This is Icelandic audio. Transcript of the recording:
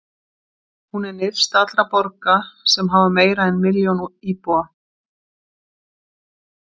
Hún er nyrst allra borga sem hafa meira en eina milljón íbúa.